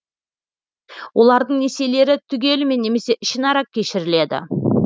олардың несиелері түгелімен немесе ішінара кешіріледі